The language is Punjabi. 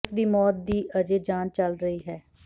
ਉਸ ਦੀ ਮੌਤ ਦੀ ਅਜੇ ਜਾਂਚ ਚਲ ਰਹੀ ਹੈ